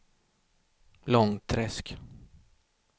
Långträsk